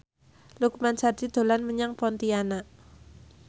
Lukman Sardi dolan menyang Pontianak